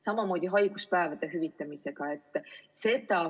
Samamoodi on haiguspäevade hüvitamisega.